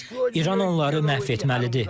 İran onları məhv etməlidir.